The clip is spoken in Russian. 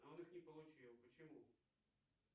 он их не получил почему